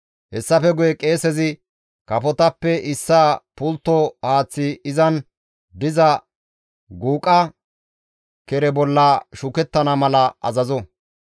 Hessafe guye qeesezi kafotappe issaa pultto haaththi izan diza guuqa kere bolla shukettana mala azazo.